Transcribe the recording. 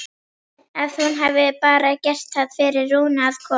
Að hún hafi bara gert það fyrir Rúnu að koma.